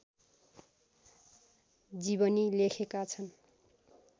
जीवनी लेखेका छन्